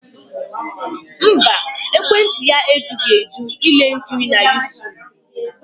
Mba, ekwentị ya ejughị eju ile nkiri na YouTube